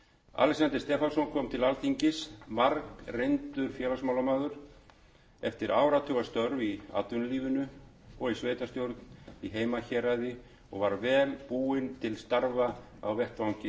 alexander stefánsson kom til alþingis margreyndur félagsmálamaður eftir áratugastörf í atvinnulífinu og sveitarstjórn í heimahéraði og var vel búinn til starfa á vettvangi